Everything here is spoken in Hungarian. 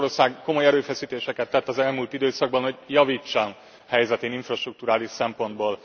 Magyarország komoly erőfeszítéseket tett az elmúlt időszakban, hogy javítson helyzetén infrastrukturális szempontból.